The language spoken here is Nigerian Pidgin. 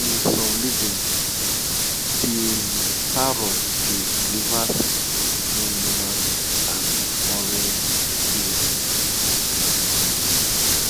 in some legends de parrot dey deliver secrets between humans and de forest spirits